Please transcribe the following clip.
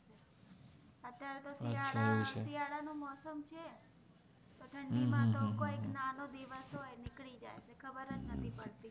અત્ય઼આરે તો સિયારા નો તો મોસમ છે તો થન્ડી મા તો કોઇક નાનો દિવસ હોએ નિક્લિ જાએ એત્લે ખબ્ર્ર નૈ પ્દ્તિ